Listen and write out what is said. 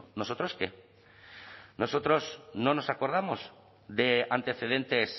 nosotros qué nosotros no nos acordamos de antecedentes